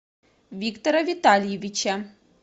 виктора витальевича